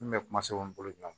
N kun bɛ kuma sɛbɛn bolo